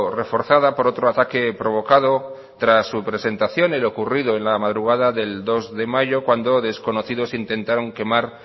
reforzada por otro ataque provocado tras su presentación en lo ocurrido en la madrugada del dos de mayo cuando desconocidos intentaron quemar